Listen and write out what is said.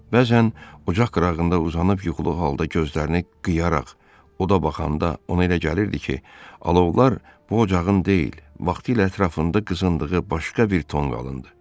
Bəzən ocaq qırağında uzanıb yuxuluğu halda gözlərini qıyaraq oda baxanda ona elə gəlirdi ki, alovlar bu ocağın deyil, vaxtilə ətrafında qızındığı başqa bir tonqalındır.